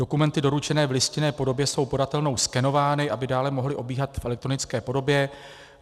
Dokumenty doručené v listinné podobě jsou podatelnou skenovány, aby dále mohly obíhat v elektronické podobě.